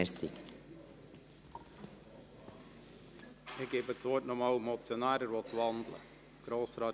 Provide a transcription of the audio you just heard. Ich gebe dem Motionär noch einmal das Wort.